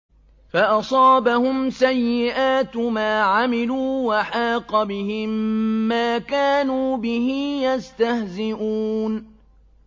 فَأَصَابَهُمْ سَيِّئَاتُ مَا عَمِلُوا وَحَاقَ بِهِم مَّا كَانُوا بِهِ يَسْتَهْزِئُونَ